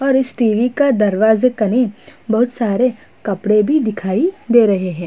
और इस टी.वी. का दरवाजा कने बहुत सारे कपड़े भी दिखाई दे रहे हैं।